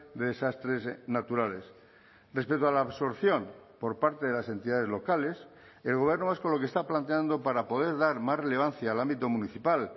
de desastres naturales respecto a la absorción por parte de las entidades locales el gobierno vasco lo que está planteando para poder dar más relevancia al ámbito municipal